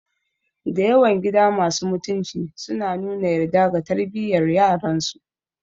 Dayawan gida masu mutunci sukan nuna yarda ga tarbiyar yaransu